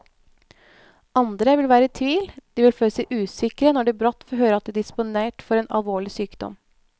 Andre vil være i tvil, de vil føle seg usikre når de brått får høre at de er disponert for en alvorlig sykdom.